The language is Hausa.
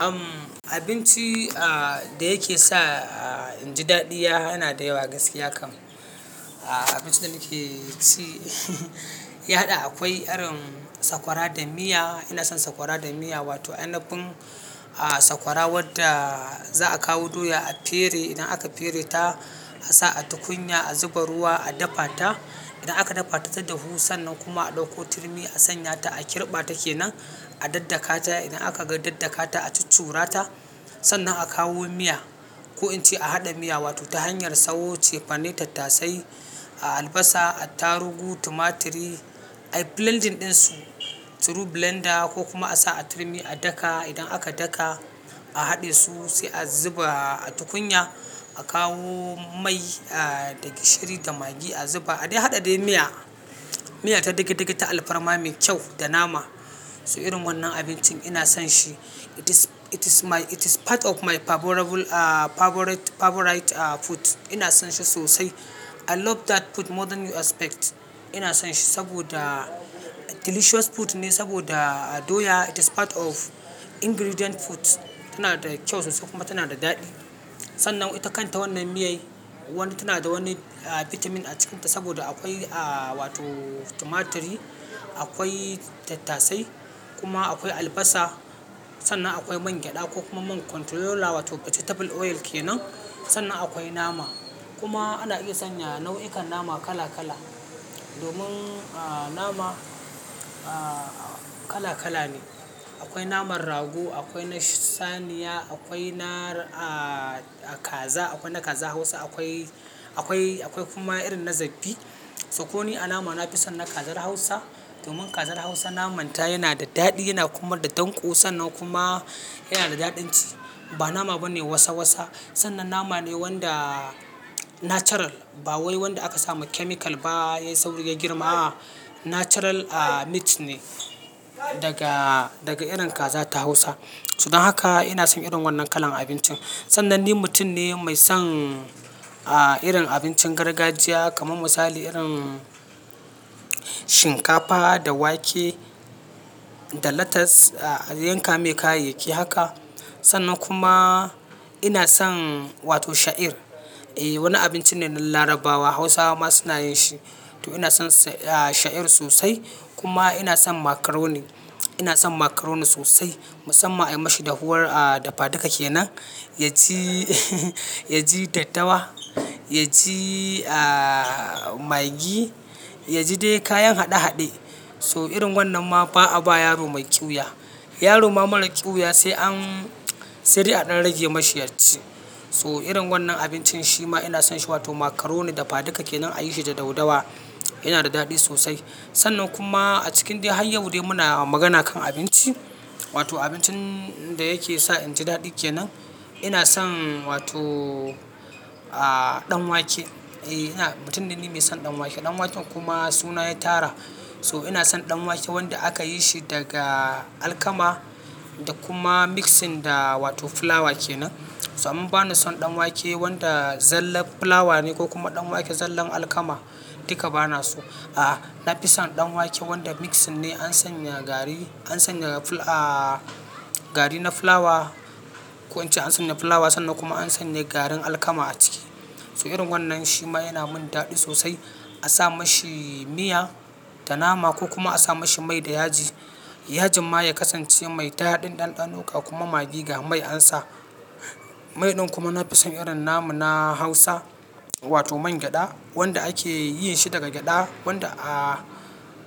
Umm abinci a da yake sa a inji daɗi yana da yawa gaskiya kam. A abinci da nike ci ya haɗa akwai irin sakwara da miya. Ina son sakwara da miya wato ainapin a sakwara wadda za'a kawo doya a pere idan aka pere ta a sa a tukunya a zuba ruwa a dafa ta. Idan aka dafa ta ta dahu sannan kuma a ɗauko turmi a sanya ta a kirɓa take nan a daddakata. Idan aka ga daddakata a chuchura ta sannan a kawo miya. Ko in ce a haɗa miya wato ta hanyar sayo cefane, tattasai, a albasa, a tarugu, tumatiri, a blending ɗinsu through blender ko kuma a sa a turmi a daka. Idan aka daka a haɗe su sai a zuba a tukunya a kawo mai a daga shiri da maggi a zuba. A dai haɗa dai miya, miya ta dege dege ta alfarma mai kyau da nama. To irin wannan abincin ina son shi. It is, it is my, it is part of my favorable a favorite, favorite a food. Ina son shi sosai. I love that food more than you expect. Ina son shi saboda delicious food ne saboda doya it is part of ingredient foods. Tana da kyau sosai kuma tana da daɗi. Sannan ita kanta wannan miya'n wani tana da wani a vitamin a cikinta saboda akwai a wato tumatiri, akwai tattasai kuma akwai albasa. Sannan akwai mangyaɗa ko kuma man controller wato vegetable oil ke nan. Sannan akwai nama kuma ana iya sanya nau'ikan nama kala kala. Domin a nama a kala kala ne. Akwai naman rago, akwai na saniya, akwai na a kaza, akwai na kazar hausa, akwai, akwai, akwai kuma irin na zafi. Sokonni a nama nafi son na kazar hausa domin kazar hausa naman ta yana da daɗi yana kuma da danko sannan kuma yana da daɗin ci. Ba nama bane wasa wasa. Sannan nama ne wanda natural ba wai wanda aka samu chemical ba ya sauri ya girma. A natural a meat ne daga, daga irin kaza ta hausa. So dan haka ina son irin wannan kalan abincin. Sannan ni mutum ne mai son a irin abincin gargajiya kamar misali irin shinkafa da wake da latas a yanka mai kayayyaki haka. Sannan kuma ina son wato sha'ir. Eh wani abinci ne na larabawa hausawa ma suna yin shi. To ina son a sha'ir sosai kuma ina son macaroni. Ina son macaroni sosai musamman anyi mashi da huwar a dafadika kenan. Ya ci ya ji tattawa, ya ci a maggi, ya ji dai kayan haɗe haɗe. To irin wannan ma ba a ba yaro mai ƙyuya. Yaro ma mara ƙyuwuya sai an, sai dai an rage mashi yaci. To irin wannan abincin shi ma ina son shi wato macaroni dafadika kenan a yi shi da dau dawa yana da daɗi sosai. Sannan kuma a cikin dai har yau dai muna magana kan abinci wato abincin da yake sa inji daɗi kenan ina son wato a ɗan wake. Eh ina, mutum dai ni mai son ɗan wake. Ɗan waken kuma suna ya tara. To ina son ɗan wake wanda aka yi shi daga alkama da kuma mixing da wato fulawa kenan. To an bani son ɗan wake wanda zallen fulawa ne ko kuma ɗan wake zallen alkama duka bana so. A nafi son ɗan wake wanda mixing ne an sanya gari, an sanya a gari na fulawa ko in ce an sanya fulawa sannan kuma an sanya garin alkama a ciki. To irin wannan shi ma yana min daɗi sosai. A sa mashi miya da nama ko kuma a sa mashi mai da yaji. Yajin ma ya kasance mai daɗin ɗan ɗano ga kuma maggi ga mai an sa. Mai ɗin kuma nafi son irin namu na hausa wato mangyaɗa wanda ake yin shi daga gyaɗa wanda a,